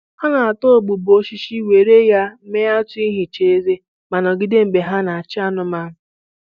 Ha na-ata ụgbụgbọ osisi were ya mee atụ ihicha eze ma nọgide mgbe ha na-achị anụmanụ